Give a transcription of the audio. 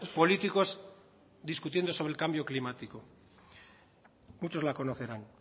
políticos discutiendo sobre el cambio climático muchos la conocerán